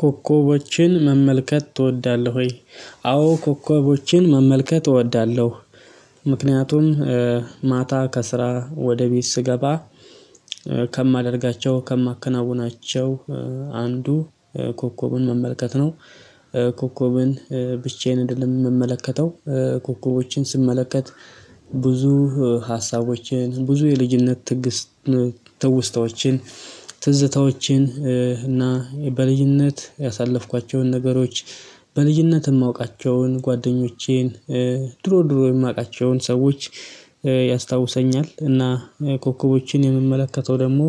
ኮከቦችን መመልከት ትወዳለህ? ወይ ኮከቦችን መመልከት እወዳለሁ። ምክንያቱም ማታ ከስራ ወደ ቤት ስገባ ከማደርጋቸው ከማከናውናቸው አንዱ ኮከብን መመልከት ነው። ኮከቡን ብቻዬን እንደምመለከተው ኮከቦችን ስመለከት ብዙ ሀሳቦችን ብዙ የልጅነት ትውስታዎችን ትዝታዎችን እና በልጅነት ያሳለፍኳቸውን ነገሮች በልጅነት የማውቃቸውን ጓደኞቼን ድሮ ድሮ የማውቃቸውን ሰዎች ያስታውሰኛል። እና ኮከቦችን የምመለከተው ደግሞ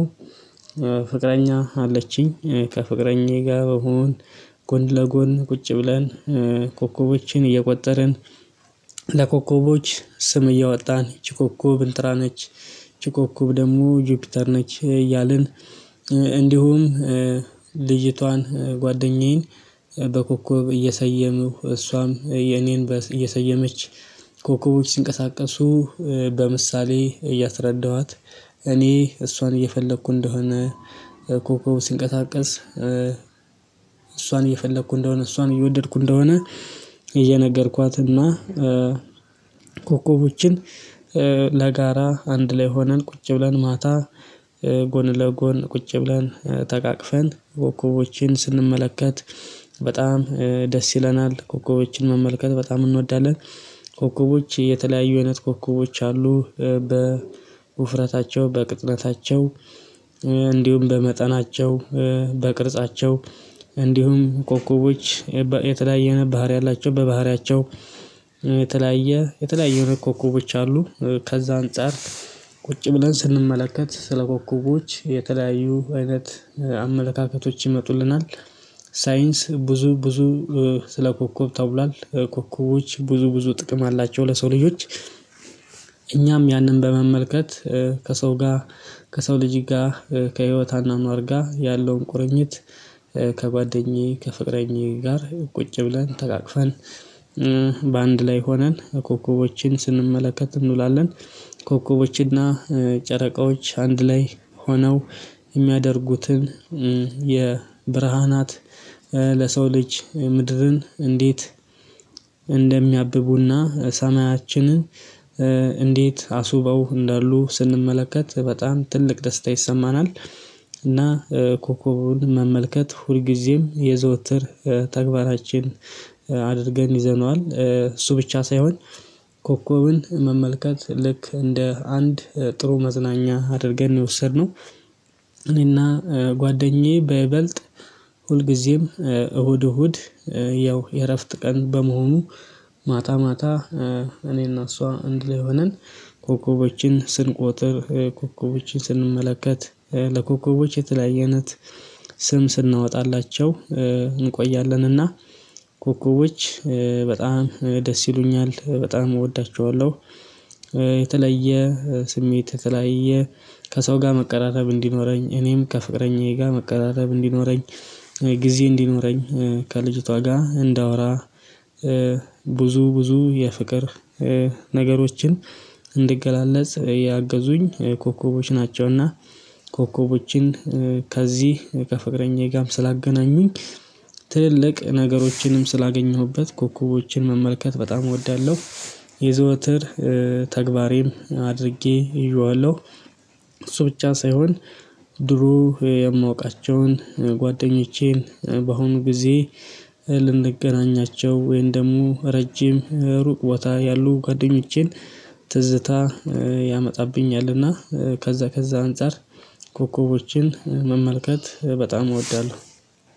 ፍቅረኛ አለችኝ ከፍቅረኛዬ ጋር በመሆን ጎን ለጎን ቁጭ ብለን ኮከቦችን እየቆጠርን ለኮከቦች ስም እያወጣን ይቺ ኮኮብ እንትና ነች ይቺ ኮኮብ ደግሞ ጆፒተር ነች እያልን። እንዲሁም ልጅቷን ጓደኛዬን በኮከብ እየሰየምኩ እሷም የኔን እየሰየመች ኮከቦች ሲንቀሳቀሱ በምሳሌ እያስረዳኋት እኔ እሷን እየፈለኩ እንደሆነ ኮኮብ ሲንቀሳቀሰ እሷን እየፈለኩ እንደሆነ እሷን እየወደድኩ እንደሆነ። እየነገርኳትና ኮከቦችን ለጋራ አንድ ላይ ሆነን ቁጭ ብለን ማታ ጎን ለጎን ቁጭ ብለን ተቃቅፈን ኮኮቦችን ስንመለከት በጣም ደስ ይለናል። ኮከቦችን መመልከት በጣም እንወዳለን። ኮከቦች የተለያዩ አይነት ኮከቦች አሉ በውፍረታቸው በቅጥነታቸው እንዲሁም በመጠናቸው በቅርጻቸው እንዲሁም ኮከቦች የተለያየ አይነት ባህሪ አላቸው። በባህሪያቸው የተለያየ የተለያየ ኮኮቦች አሉ ከዛ አንፃር ቁጭ ብለን ስንመለከት ስለ ኮኮቦች የተለያዩ አይነት አመለካከቶች ይመጡልናል። ሳይንስ ብዙ ብዙ ስለ ኮከብ ተብሏል ኮከቦች ብዙ ብዙ ጥቅም አላቸው ለሰው ልጆች። እኛም ያንን በመመልከት ከሰው ጋር ከሰው ልጅ ጋር ከህይወት አኗኗር ጋር ያለውን ቁርኝት ከጓደኛዬ ከፍቅረኛዬ ጋር ቁጭ ብለን ተቃቅፈን በአንድ ላይ ሆነን ኮከቦችን ስንመለከት እንውላለን። ኮከቦችንና ጨረቃዎች አንድ ላይ ሆነው የሚያደርጉትን የብርሃናት ለሰው ልጅ ምድርን እንዴት እንደሚያብቡ እና ሰማያችንን እንዴት አስውበው እንዳሉ ስንመለከት በጣም ትልቅ ደስታ ይሰማናል። እና ኮኮቡን መመልከት ሁልጊዜም የዘወትር ተግባራችን አድርገን ይዘነዋል እሱ ብቻ ሳይሆን ኮኮብን መመልከት ልክ እንደ አንድ ጥሩ መዝናኛ አድርገን የወሰድነው። እኔ እና ጓደኛዬ በይበልጥ ሁልጊዜም እሁድ እሁድ ያው የእረፍት ቀን በመሆኑ ማታ ማታ እኔ እና እሷ እንድ ላይ ሆነን ኮከቦችን ስንቆጥር ኮከቦችን ስንመለከት ለኮከቦች የተለያየ አይነት ስም ስናወጣላቸው እንቆያለን። እና ኮኮቦች በጣም ደስ ይሉኛል በጣም እወዳቸዋለሁ። የተለየ ስሜት የተለያየ ከሰው ጋር መቀራረብ እንዲኖረኝ እኔም ከፍቅረኛዬ ጋር መቀራረብ እንዲኖረኝ ጊዜ እንዲኖረኝ ከልጅቷ ጋር እንዳወራ ብዙ ብዙ የፍቅር ነገሮችን እንድገላለጽ ያገዙኝ ኮከቦች ናቸው። እና ኮከቦችን ከዚህ ከፍቅረኛዬ ጋርም ስላገናኙኝ ትልልቅ ነገሮችንም ስላገኘሁበት ኮኮቦችን መመልከት በጣም እወዳለሁ። የዘወትር ተግባሬም አድርጌ ይዤዋለሁ። እሱ ብቻ ሳይሆን ድሮ የማውቃቸውን ጓደኞቼን በአሁኑ ጊዜ ልንገናኛቸው ወይንም ደግሞ ረጅም ሩቅ ቦታ ያሉ ጓደኞቼን ትዝታ ያመጣብኛል። እና ከዛ ከዛ አንፃር ኮከቦችን መመልከት በጣም እወዳለሁ